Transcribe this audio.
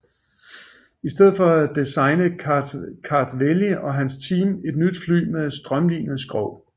I stedet for designede Kartveli og hans team et nyt fly med et strømlinet skrog